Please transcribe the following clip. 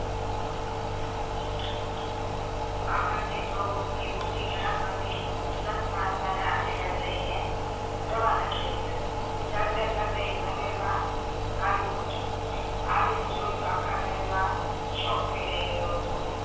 બાહ્મણ ને તો એ બુટિક અને સંતમહાત્મા માં આશીર્વાદ લઈ ને રવાના થઈ ગયો ચાલતા ચલતા એક નગર માં આવી પોંહચીયો આવી ને જોયું તોઅખ નગર માં શોક ફેલાય ગયો હતો.